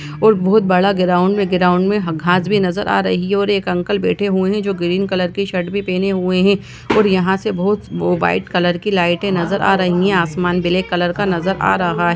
और बहुत बड़ा गराउन्ड है गराउन्ड में ह घास भी नजर आ रही है और एक अंकल बैठे हुए है जो गिरिन कलर की शर्ट भी पेहने हुए है और यहाँ से बहुत वो व्हाइट कलर की लाइटे नज़र आ रही है आसमान बिलेक कलर का नज़र आ रहा --